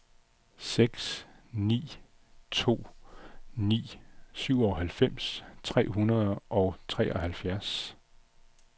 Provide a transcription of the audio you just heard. seks ni to ni syvoghalvfems tre hundrede og treoghalvfjerds